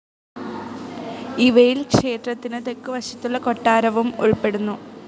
ഇവയിൽ ക്ഷേത്രത്തിന് തെക്കു വശത്തുള്ള കൊട്ടാരവും ഉൾപ്പെടുന്നു.